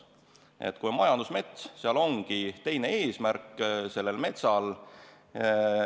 Nii et kui meil on tegemist majandusmetsaga, siis selle eesmärk ongi teine.